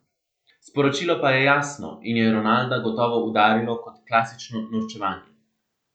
Sporočilo pa je jasno in je Ronalda gotovo udarilo kot klasično norčevanje.